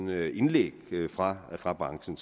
er indlæg fra fra branchen